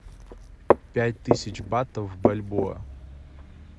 пять тысяч бат в бальбоа